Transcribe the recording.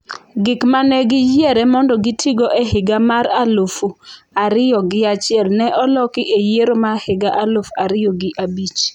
Gik mane giyiere mondo gitigo e higa mar aluf ariyo gi achiel ne oloki e yiero ma higa aluf ariyo gi abich.